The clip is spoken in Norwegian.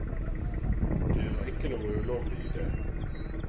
Det er ikke noe ulovlig i det.